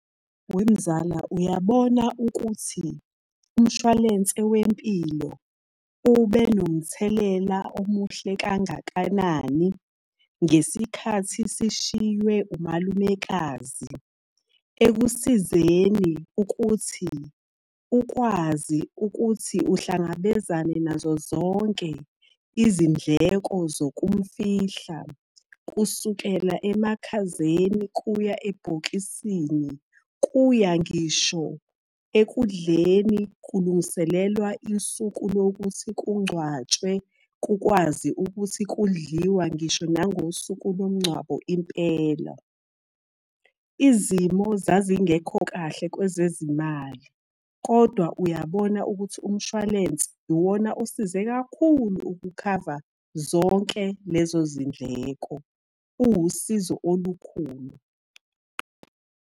Wemzala uyabona ukuthi, umshwalense wempilo ube nomthelela omuhle kangakanani, ngesikhathi sishiywe umalumekazi ekusizeni ukuthi ukwazi ukuthi uhlangabezane nazo zonke izindleko zokumufihla. Kusukela emakhazeni kuya ebhokisini, kuya ngisho ekudleni, kulungiselelwa isuku lokuthi kungcwatshwe kukwazi ukuthi kudliwa ngisho nangosuku lomngcwabo impela. Izimo zazingekho kahle kwezezimali, kodwa uyabona ukuthi umshwalense iwona osize kakhulu ukukhava zonke lezo zindleko. Uwusizo olukhulu.